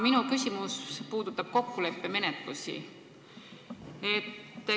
Minu küsimus puudutab kokkuleppemenetlusi.